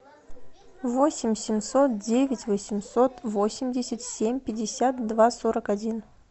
восемь семьсот девять восемьсот восемьдесят семь пятьдесят два сорок один